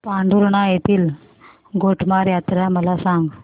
पांढुर्णा येथील गोटमार यात्रा मला सांग